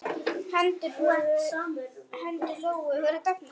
Hendur Lóu voru dofnar.